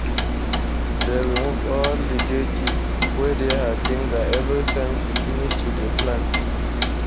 she dey remove all the dirty wey dey her fingers everytime she finish to dey plant.